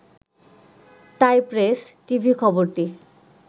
তাই প্রেস, টিভি-খবরটি